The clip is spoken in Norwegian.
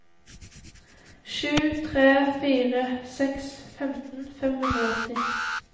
sju tre fire seks femten fem hundre og åtti